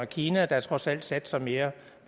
kina der trods alt satser mere